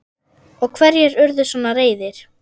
Og hverjir urðu svona reiðir?